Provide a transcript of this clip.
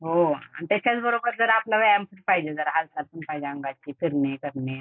हो आणि त्याच्याचबरोबर जर आपला व्यायाम पण पाहिजे हालचाल पण पाहिजे अंगाची. फिरणे, करणे जरा.